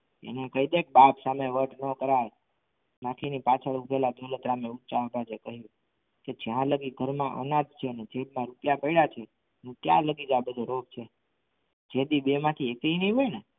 એને કહી દે બાપ સામે વટ ના કરાય કાકીની પાછળ ઉભેલા દોલતરામ એ ચાંપલા સે કહ્યું કે જ્યાં લગી ઘરમાં અનાજ છે અને જેટલા રૂપિયા પડ્યા છે ત્યાં જ લગી આ બધો રોગ છે જેથી બેમાંથી એકેય નહીં હોય ને